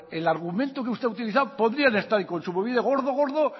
el argumento que usted ha utilizado podrían estar en kontsumobide gordo gordo